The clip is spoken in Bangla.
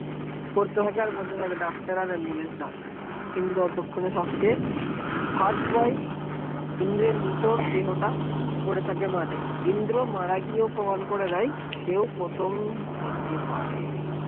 doctor আর ambulance ডাক কিন্তু পরক্ষনে first aid ইন্দ্রের নিথর উহ দেহটা, পডেথকে মাটি ইন্দ্র মারা গিয়ে করে দেয় সেও প্রথম হতে পারে